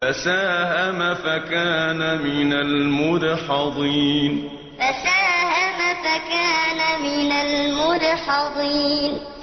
فَسَاهَمَ فَكَانَ مِنَ الْمُدْحَضِينَ فَسَاهَمَ فَكَانَ مِنَ الْمُدْحَضِينَ